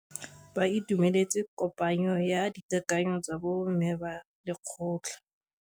Ba itumeletse kôpanyo ya dikakanyô tsa bo mme ba lekgotla.